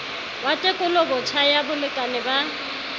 wa tekolobotjha ya bolekane ba